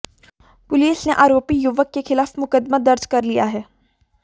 police ने आरोपी युवक के खिलाफ मुकदमा दर्ज कर लिया है